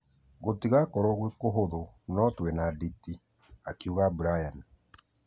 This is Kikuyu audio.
Gũtĩgokorwo gwĩ kũhũthũ no twĩna nditi,"akiuga brian.